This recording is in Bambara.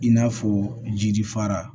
I n'a fɔ jiri fara